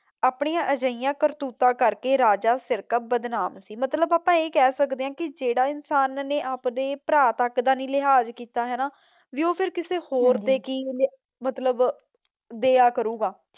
ਆਪਣੀਆਂ ਅਜਿਹੀਆਂ ਕਰਤੂਤਾਂ ਕਰਕੇ ਰਾਜਾ ਸਿਰਕਪ ਬਦਨਾਮ ਸੀ ਮਤਲਬ ਆਪਾ ਇਹ ਕਹਿ ਸਕਦੇ ਹਾਂ ਕੀ ਜਿਹੜੇ ਇਨਸਾਨ ਨੇ ਆਪ ਦੇ ਪਰਾ ਤੱਕ ਦਾ ਨੀ ਲਿਹਾਜ਼ ਕੀਤਾ ਤੇ ਉਹ ਕਿਸੇ ਹੋਰ ਦੇ ਕੀ ਦਯਾ ਕਰੁਗਾ